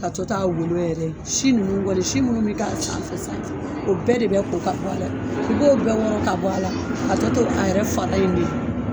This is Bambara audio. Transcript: K'a tɔ to a golo yɛrɛ ye si ninnu kɔni si minnu bɛ kɛ a sanfɛ sa o bɛɛ de bɛ ko ka bɔ a la i b'o bɛɛ wɔrɔ ka bɔ a la ka tɔ to a yɛrɛ fara in ye.